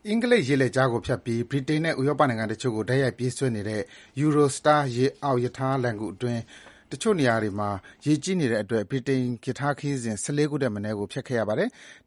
အင်္ဂလိပ်ရေလက်ကြားကိုဖြတ်ပြီး ဗြိတိန်နိုင်ငံနဲ့ ဥရောပနိုင်ငံတချို့ကို တိုက်ရိုက်ပြေးဆွဲနေတဲ့ Eurostar ရေအောက်ရထားလှိုဏ်ဂူ တချို့နေရာတွေမှာ ရေကြီးနေတဲ့အတွက် ဗြိတိန်ရထားခရီးစဉ် ၁၄ ခုထက် မနည်းဖျက်ခဲ့ရပါတယ်။